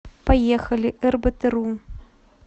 поехали эрбэтэру